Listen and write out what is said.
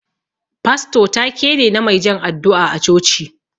Fasto ta-ke ne, na mai jan addu'a a coci.